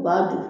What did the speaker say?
U b'a dun